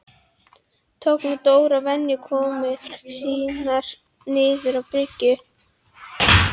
Tók nú Dór að venja komur sínar niður á bryggju.